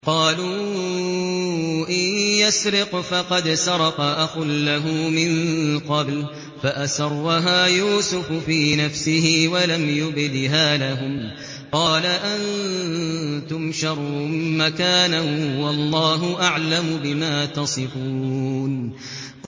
۞ قَالُوا إِن يَسْرِقْ فَقَدْ سَرَقَ أَخٌ لَّهُ مِن قَبْلُ ۚ فَأَسَرَّهَا يُوسُفُ فِي نَفْسِهِ وَلَمْ يُبْدِهَا لَهُمْ ۚ قَالَ أَنتُمْ شَرٌّ مَّكَانًا ۖ وَاللَّهُ أَعْلَمُ بِمَا تَصِفُونَ